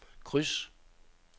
kryds